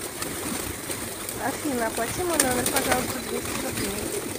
афина оплати мой номер пожалуйста двести рублей